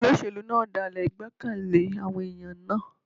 Olóṣèlú náà dálè ìgbẹ́kẹ̀lé àwọn ẹ̀yàn náà.